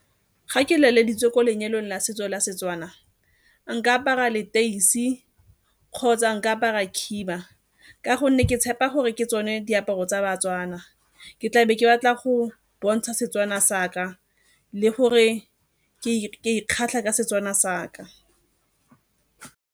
Ga ke feleleditse ko lenyalong la setso la Setswana, nka apara leteisi kgotsa nka apara khiba ka gonne ke tshepa gore ke tsone diaparo tsa baTswana. Ke tlabe ke batla go bontsha Setswana sa ka le gore ke ikgatlha ka Setswana sa ka.